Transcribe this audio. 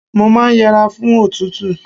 Mo máa yẹra fún òtútù.